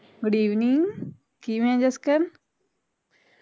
good evening ਕਿਵੇ ਆ ਜਸਕਰਨ